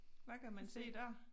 Hvad kan man se dér?